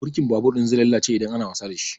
Birkin babur ɗin zai lalace idan ana wasa dashi